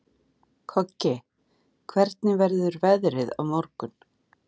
Koggi, hvernig verður veðrið á morgun?